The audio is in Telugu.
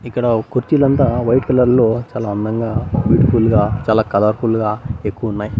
ఇక్కడ ఓ కుర్చీలంతా వైట్ కలర్ లో చాలా అందంగా బ్యూటిఫుల్ గా చాలా కలర్ఫుల్ గా ఎక్కువున్నాయ్.